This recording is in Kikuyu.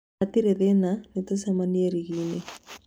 Hatirĩ na thĩna, nĩtũcemanie ring'i-inĩ